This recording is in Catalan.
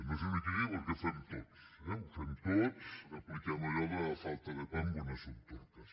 no és una crítica perquè ho fem tots eh ho fem tots apliquem allò de a falta de pan buenas son tortas